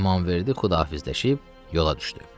İmamverdi Xudahafizləşib yola düşdü.